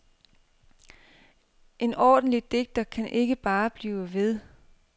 En ordentlig digter kan ikke bare blive ved.